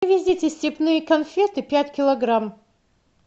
привезите степные конфеты пять килограмм